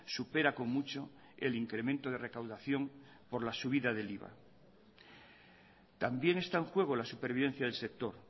supera con mucho el incremento de recaudación por la subida del iva también está en juego la supervivencia del sector